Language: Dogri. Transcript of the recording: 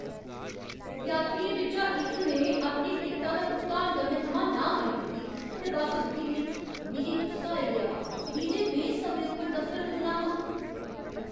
यात्रियें बिच्चा इक ने अपनी टिकटा दा भुगतान करने थमां नांह् करी दित्ती ते बस्स रुकी गेई। मिगी गुस्सा आई गेआ हा की जे में समें उप्पर दफतर पुज्जना हा।